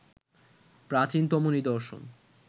প্রাচীনতম নিদর্শন